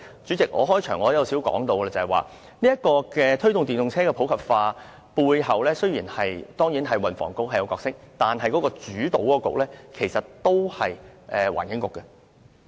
主席，我開場發言時也提過，雖然推動電動車普及化背後，運輸及房屋局當然有角色，但主導的政策局其實仍然是環境局。